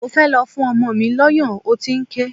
Mo fẹ́ lọ fún ọmọ mi lọ́yàn, ó ti ń ké.